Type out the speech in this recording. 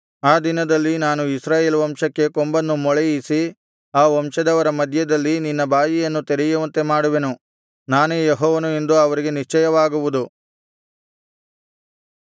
ಆ ದಿನದಲ್ಲಿ ನಾನು ಇಸ್ರಾಯೇಲ್ ವಂಶಕ್ಕೆ ಕೊಂಬನ್ನು ಮೊಳೆಯಿಸಿ ಆ ವಂಶದವರ ಮಧ್ಯದಲ್ಲಿ ನಿನ್ನ ಬಾಯಿಯನ್ನು ತೆರೆಯುವಂತೆ ಮಾಡುವೆನು ನಾನೇ ಯೆಹೋವನು ಎಂದು ಅವರಿಗೆ ನಿಶ್ಚಯವಾಗುವುದು